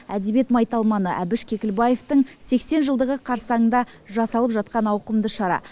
әдебиет майталманы әбіш кекілбаевтың сексен жылдығы қарсаңында жасалып жатқан ауқымды шара